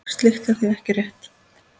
Slíkt er því ekki frétt.